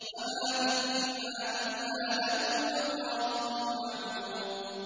وَمَا مِنَّا إِلَّا لَهُ مَقَامٌ مَّعْلُومٌ